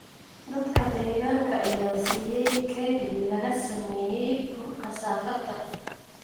Dadka deegaanka ayaa siisay keeg laga sameeyay bur kasaafada.